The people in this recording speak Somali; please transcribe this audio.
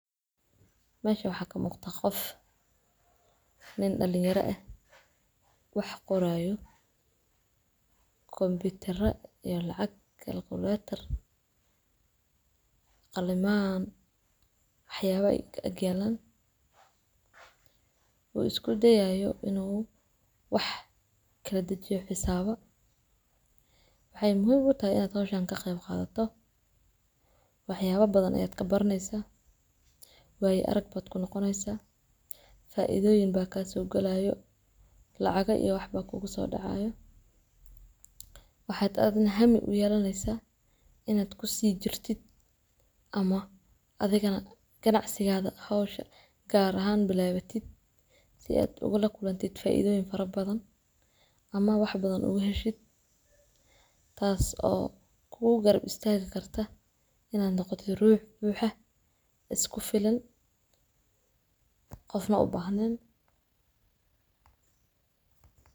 mesha waxaa kamuqda qof nin dhaliyara eh wax qoraayo komputara iyo lacag iyo kalkulatar qalimaan waxyaabaha ag yalan uuu isku dayaayo inuu wax kala dhejiyo wax xisaabo waxy muhiim utahay haqshaan inaa kaqeeb qadato waxyaaba badan ayaad kabaraneesa waaya arag baad kunoqoneesa faidooyion baa kasoo gelaayo lacaga iyo waxba kugu soo dhacayaan waxaad adiga nah hami uyeelaneesa inaad kusii jirtit ama adiga nah ganacsigaada gaar ahaan u bilaabatid si aad ula kulantit faidooyin fara badan ama wax bada uga heshid taas oo kugu garab istaagi karta inaad noqotid ruux buuxa iskufilan qofna ubaahneen.